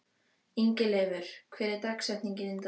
Ingileifur, hver er dagsetningin í dag?